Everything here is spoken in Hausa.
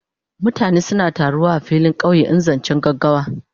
Mutane suna taru a filin kauye in zancen gaggawa.